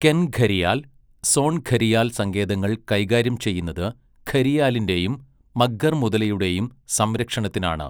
കെൻ ഘരിയാൽ, സോൺ ഘരിയാൽ സങ്കേതങ്ങൾ കൈകാര്യം ചെയ്യുന്നത് ഘരിയാലിൻ്റെയും മഗ്ഗർ മുതലയുടെയും സംരക്ഷണത്തിനാണ്.